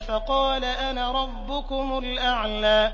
فَقَالَ أَنَا رَبُّكُمُ الْأَعْلَىٰ